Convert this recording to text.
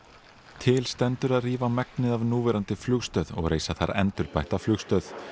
til stendur að rífa megnið af núverandi flugstöð í og reisa þar endurbætta flugstöð